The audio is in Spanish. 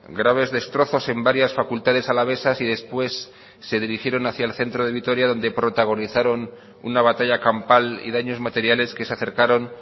graves destrozos en varias facultades alavesas y después se dirigieron hacia el centro de vitoria donde protagonizaron una batalla campal y daños materiales que se acercaron